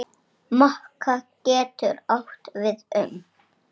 Mokka getur átt við um